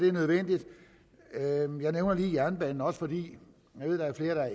er nødvendigt jeg nævner lige jernbanen også fordi der er flere der